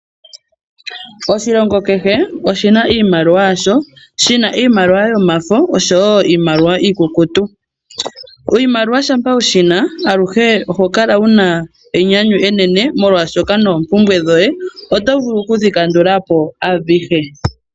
Oshilongo kehe oshina iimaliwa yasho, shina iimaliwa yomafo oshowo iimaliwa iikukutu. Oshimaliwa shampa wu shina aluhe oho kala wu na enyanyu enene molwaashoka noompumbwe dhoye oto vulu oku dhi kandula po adhihe.